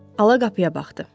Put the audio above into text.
Hala qapıya baxdı.